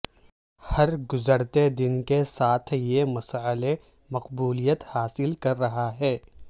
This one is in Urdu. ہر گزرتے دن کے ساتھ یہ مسئلہ مقبولیت حاصل کر رہا ہے